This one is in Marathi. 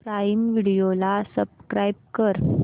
प्राईम व्हिडिओ ला सबस्क्राईब कर